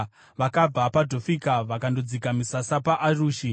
Vakabva paDhofika vakandodzika misasa paArushi.